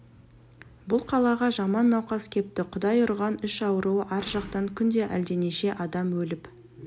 бұл қалаға жаман науқас кепті құдай ұрған іш ауруы ар жақтан күнде әлденеше адам өліп